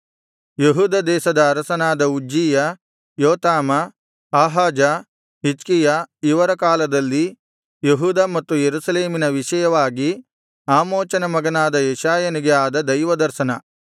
ಯೆಹೂದ ದೇಶದ ಅರಸರಾದ ಉಜ್ಜೀಯ ಯೋಥಾಮ ಆಹಾಜ ಹಿಜ್ಕೀಯ ಇವರ ಕಾಲದಲ್ಲಿ ಯೆಹೂದ ಮತ್ತು ಯೆರೂಸಲೇಮಿನ ವಿಷಯವಾಗಿ ಆಮೋಚನ ಮಗನಾದ ಯೆಶಾಯನಿಗೆ ಆದ ದೈವದರ್ಶನ